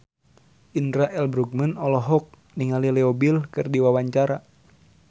Indra L. Bruggman olohok ningali Leo Bill keur diwawancara